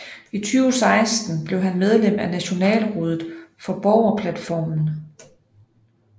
I 2016 blev han medlem af Nationalrådet for Borgerplatformen